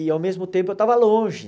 E ao mesmo tempo eu estava longe.